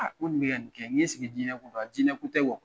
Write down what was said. Nko nin bɛ ka nin kɛ, nko jinɛya ko do wa Jinɛ ko